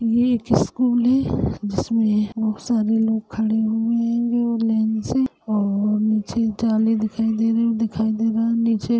ये एक स्कूल है जिसमे बहोत सारे लोग खड़े हुए हेंगे और लाइन से और निचे जाले दिखाई दे रहै दिखाई दे रहा है निचे --